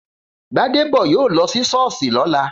Gbádébọ̀ yóò lọ sí Sọ́ọ̀sì lọ́la.